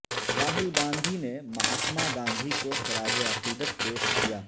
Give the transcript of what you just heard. راہل گاندھی نے مہاتما گاندھی کوخراج عقیدت پیش کیا